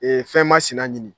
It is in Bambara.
fɛn ma sina ɲini